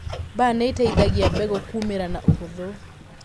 Mbaa nĩiteithagia mbegũ kumĩra na ũhuthũ.